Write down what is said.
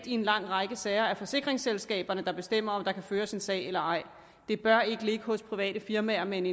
i en lang række sager reelt er forsikringsselskaberne der bestemmer om der kan føres en sag eller ej det bør ikke ligge hos private firmaer med en